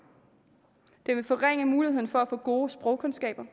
det vil også forringe muligheden for at få gode sprogkundskaber